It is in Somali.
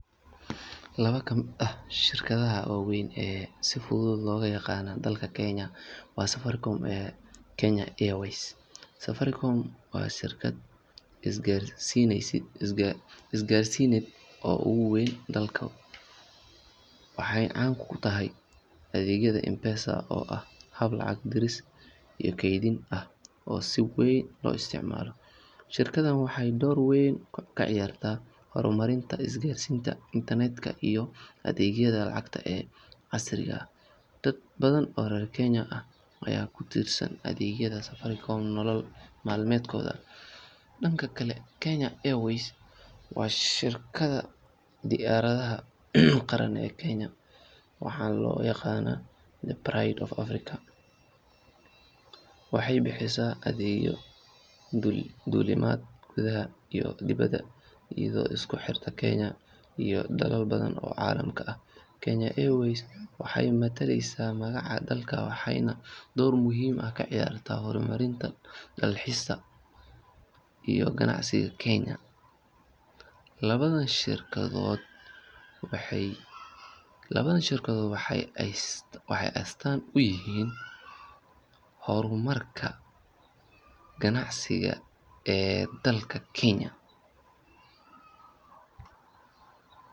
Laba ka mid ah shirkadaha waaweyn ee si fudud looga yaqaan dalka Kenya waa Safaricom iyo Kenya Airways. Safaricom waa shirkad isgaarsiineed oo ugu weyn dalka waxayna caan ku tahay adeeggeeda M-Pesa oo ah hab lacag diris iyo kaydin ah oo si weyn loo isticmaalo. Shirkaddan waxay door weyn ka ciyaartay horumarinta isgaarsiinta, internet-ka iyo adeegyada lacagta ee casriga ah. Dad badan oo reer Kenya ah ayaa ku tiirsan adeegyada Safaricom nolol maalmeedkooda. Dhanka kale, Kenya Airways waa shirkadda diyaaradaha qaran ee Kenya waxaana loo yaqaannaa The Pride of Africa. Waxay bixisaa adeegyo duulimaad gudaha iyo dibedda iyadoo isku xirta Kenya iyo dalal badan oo caalamka ah. Kenya Airways waxay matalaysaa magaca dalka waxayna door muhiim ah ka ciyaartaa horumarinta dalxiiska iyo ganacsiga Kenya. Labadan shirkadood waxay astaan u yihiin horumarka ganacsiga ee dalka.